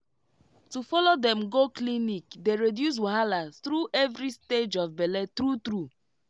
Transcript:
to follow dem go clinic dey reduce wahala through every stage of bele true true